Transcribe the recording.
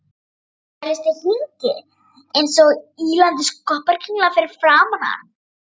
Þvælist í hringi einsog ýlandi skopparakringla fyrir framan hann.